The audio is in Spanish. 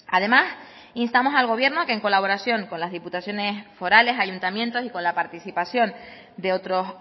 además instamos al gobierno a que en colaboración con las diputaciones forales ayuntamientos y con la participación de otros